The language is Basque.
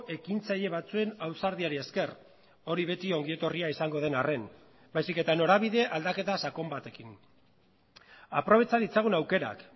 ekintzaile batzuen ausardiari esker hori beti ongi etorria izango den arren baizik eta norabide aldaketa sakon batekin aprobetxa ditzagun aukerak